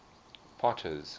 potter's